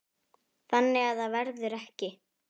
Þannig að það verður ekki.